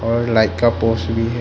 और लाइक का पोस्ट भी है।